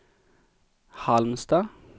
Halmstad